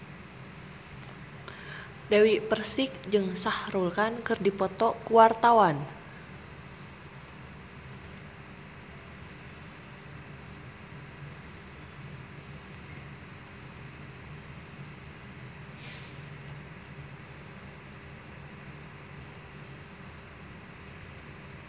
Dewi Persik jeung Shah Rukh Khan keur dipoto ku wartawan